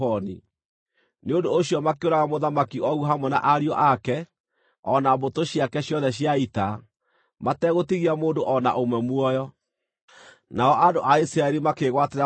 Nĩ ũndũ ũcio makĩũraga Mũthamaki Ogu hamwe na ariũ ake, o na mbũtũ ciake ciothe cia ita, mategũtigia mũndũ o na ũmwe muoyo. Nao andũ a Isiraeli makĩĩgwatĩra bũrũri wake.